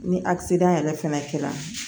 Ni yɛrɛ fɛnɛ kɛra